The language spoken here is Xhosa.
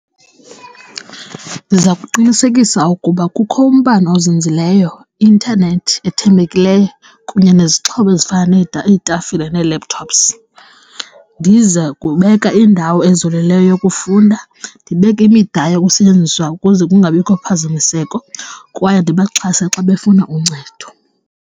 Ndiza kuqinisekisa ukuba kukho umbane ozinzileyo, i-intanethi ethembekileyo kunye nezixhobo ezifana iitafile ne-laptops. Ndize kubeka indawo ezolileyo yokufunda, ndibeke imida yokusetyenziswa ukuze kungabikho phazamiseko kwaye ndibaxhase xa befuna uncedo.